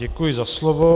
Děkuji za slovo.